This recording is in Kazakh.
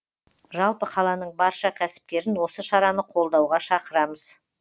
жалпы қаланың барша кәсіпкерін осы шараны қолдауға шақырамыз